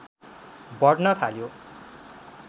बढ्न थाल्यो